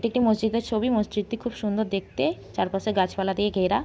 এটি একটি মসজিদের ছবি। মসজিদটি খুব সুন্দর দেখতে চারপাশে গাছপালা দিয়ে ঘেরা।